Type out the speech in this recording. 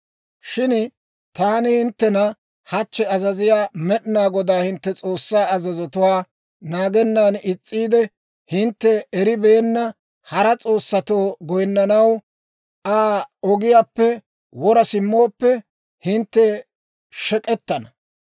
Shin taani hinttena hachchi azaziyaa Med'inaa Godaa hintte S'oossaa azazotuwaa naagennan is's'iide, hintte eribeenna hara s'oossatoo goyinnanaw Aa ogiyaappe wora simmooppe, hintte shek'k'etana.